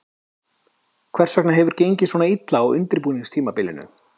Hvers vegna hefur gengið svona illa á undirbúningstímabilinu?